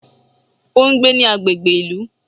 O n gbé ní agbègbè ìlú